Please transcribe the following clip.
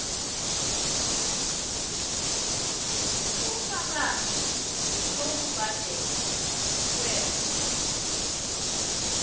ubufakazi bokubhadelwa kwer